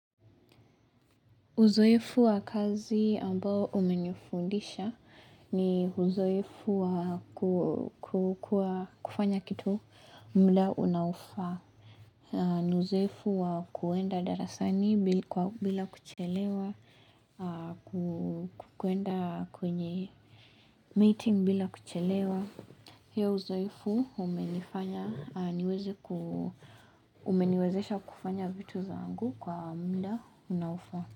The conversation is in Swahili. Uzoefu wa kazi ambao umenifundisha ni uzoefu wa kufanya kitu muda unaofaa. Uzoefu wa kuenda darasani bila kuchelewa, ku kuenda kwenye meeting bila kuchelewa. Hio uzoefu umenifanya niweze ku umeniwezesha kufanya vitu zangu kwa muda unaofaa.